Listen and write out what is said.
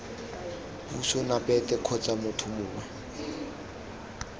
puso nababet kgotsa motho mongwe